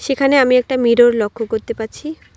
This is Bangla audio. এখানে আমি একটা মিরর লক্ষ্য করতে পারছি।